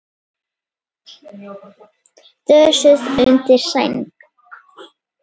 Dösuð undir sæng.